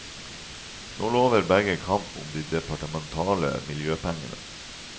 Nå lover begge kamp om de departementale miljøpengene.